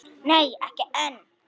Nei ekki enn.